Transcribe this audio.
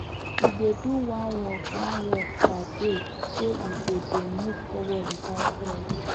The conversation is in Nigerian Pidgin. e dey do one work one work per day so e go dey move forward without stress